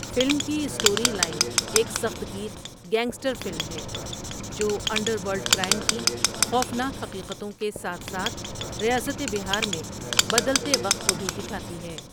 Film کی story line ایک سخت گیر گینگسٹر فلم ہے جو انڈرورلڈ کرائم کی خوفناک حقیقتوں کے ساتھ ساتھ ریاست بہار میں بدلتے وقت کو بھی دکھاتی ہے۔